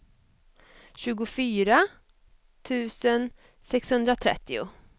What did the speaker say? tjugofyra tusen sexhundratrettio